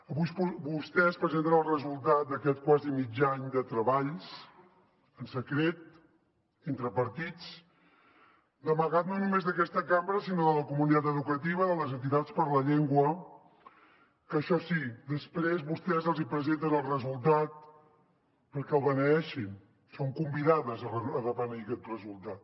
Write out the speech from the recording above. avui vostès presenten el resultat d’aquest quasi mig any de treballs en secret entre partits d’amagat no només d’aquesta cambra sinó de la comunitat educativa de les entitats per la llengua que això sí després vostès els hi presenten el resultat perquè el beneeixin són convidades a beneir aquest resultat